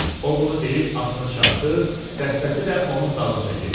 O bunu deyib atını çapdı, dəstəsi də onun dalınca getdi.